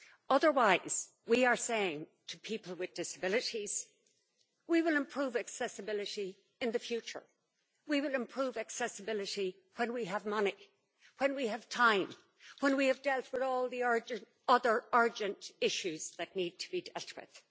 Otherwise, we are saying to people with disabilities we will improve accessibility in the future, we will improve accessibility when we have money, when we have time, when we have dealt with all the other urgent issues that need to be dealt with.